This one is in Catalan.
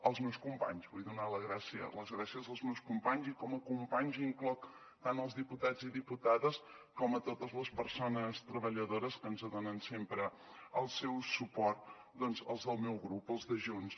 als meus companys vull donar les gràcies als meus companys i com a companys incloc tant els diputats i diputades com totes les persones treballadores que ens donen sempre el seu suport els del meu grup els de junts